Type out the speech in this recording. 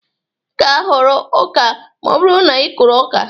Ị ga-aghọrọ ọka ma ọ bụrụ na ị kụrụ ọka